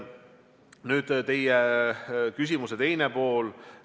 Nüüd teie küsimuse teine pool.